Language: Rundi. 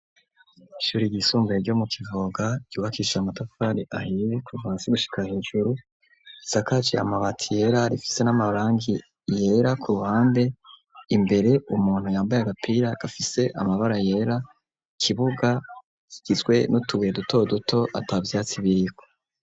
Ishuri ryisungaye ryo mu kivoga ryubakisha amatafari ahie kuvasi gushika hejuru sakaci amabati yera arifise n'amabrangi yera ku ruhanbe imbere umuntu yambaye agapira gafise amabara yera kibuga gizwe n'utubye duto duto ata vyatsi birko.